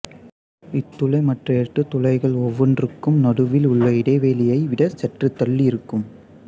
இத்துளை மற்ற எட்டு துளைகள் ஒவ்வொன்றுக்கும் நடுவில் உள்ள இடைவெளியை விட சற்றுத் தள்ளி இருக்கும்